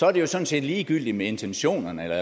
er det sådan set ligegyldigt med intentionerne eller